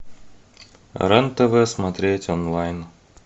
рен тв смотреть онлайн